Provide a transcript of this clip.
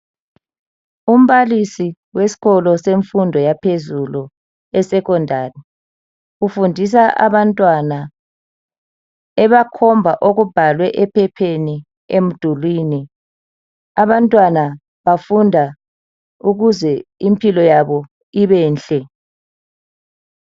umbalisi wesikolo semfundo yaphezulu e secondary ufundisa abantwana ebakhomba okubhalwe ephepheni emdulini abantwana bafunda ukuze impilo yabo ibenhle.